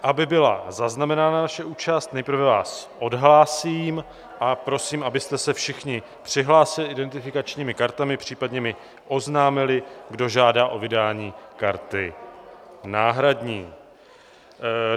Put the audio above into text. Aby byla zaznamenána naše účast, nejprve vás odhlásím a prosím, abyste se všichni přihlásili identifikačními kartami, případně mi oznámili, kdo žádá o vydání karty náhradní.